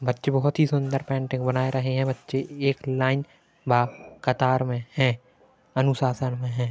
बच्चे बहोत ही सुंदर पेंटिंग बना रही है बच्ची एक लाइन बा कतार में है अनुशाशन में है।